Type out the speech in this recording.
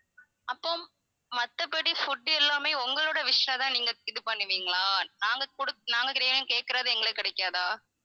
அப்போ மத்தபடி food எல்லாமே உங்களோட wish ஆ தான் நீங்க இது பண்ணுவிங்களா நாங்க குடுக்~ நாங்க கேட்கிறது எங்களுக்கு கிடைக்காதா